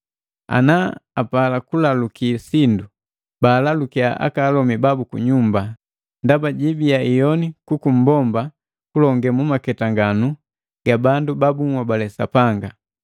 Ana apala kulaluki sindu, baalalukiya aka alomi babu kunyumba, ndaba jibiya iyoni kuku mmbomba kupwaga mumaketanganu ga bandu ba bunhobale Sapanga.